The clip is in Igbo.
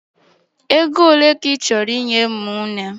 Ego ole ka ị chọrọ inye ụmụnne m?